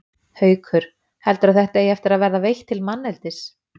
Haukur: Heldurðu að þetta eigi eftir að vera veitt til manneldis?